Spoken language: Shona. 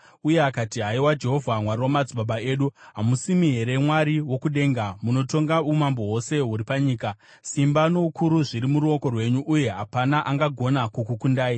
uye akati: “Haiwa Jehovha, Mwari wamadzibaba edu, hamusimi here Mwari wokudenga? Munotonga umambo hwose huri panyika. Simba noukuru zviri muruoko rwenyu. Uye hapana angagona kukukundai.